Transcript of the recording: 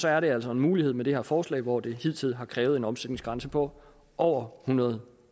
er det altså en mulighed med det her forslag hvor det hidtil har krævet en omsætningsgrænse på over hundrede